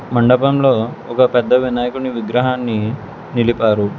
మండపంలో ఒక పెద్ద వినాయకుని విగ్రహాన్ని నిలిపారు.